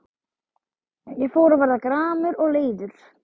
Ég fór að verða gramur og leiður.